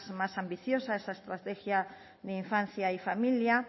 más ambiciosa esa estrategia de infancia y familia